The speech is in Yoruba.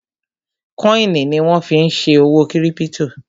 kọ́ìnì ni wọ́n fí n ṣe òwò kírípítò